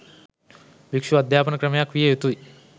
භික්‍ෂු අධ්‍යාපන ක්‍රමයක් විය යුතුයි.